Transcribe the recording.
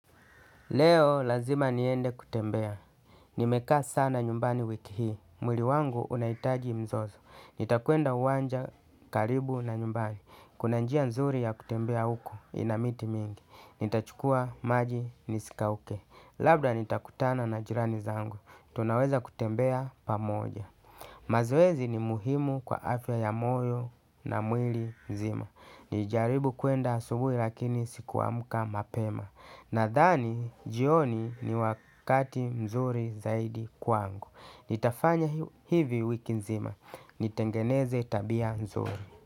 Leo lazima niende kutembea, nimekaa sana nyumbani wiki hii, mwili wangu unahitaji mzozo. Nitakwenda uwanja karibu na nyumbani, kuna njia nzuri ya kutembea huko ina miti mingi. Nitachukua maji nisikauke, labda nitakutana na jirani zangu, tunaweza kutembea pamoja. Mazoezi ni muhimu kwa afya ya moyo na mwili mzima, nilijaribu kuenda asubuhi lakini sikuamka mapema. Nadhani, jioni ni wakati mzuri zaidi kwangu. Nitafanya hivi wiki nzima. Nitengeneze tabia nzuri.